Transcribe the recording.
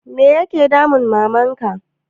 Me ya ke damun Maman ka?